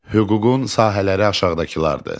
Hüququn sahələri aşağıdakılardır.